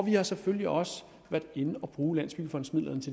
har selvfølgelig også været inde at bruge landsbyggefondens